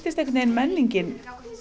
einhvern veginn menningin